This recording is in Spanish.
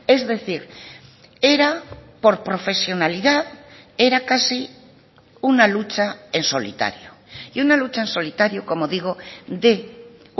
es decir era por profesionalidad era casi una lucha en solitario y una lucha en solitario como digo de